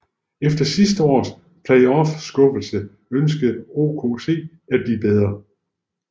Efter sidste års playoff skuffelse ønskede OKC at blive bedre